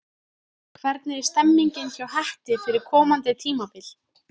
Hvernig er stemningin hjá Hetti fyrir komandi tímabil?